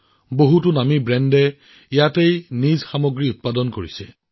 বহুতো ডাঙৰ ব্ৰেণ্ডে ইয়াত নিজৰ সামগ্ৰী নিৰ্মাণ কৰি আছে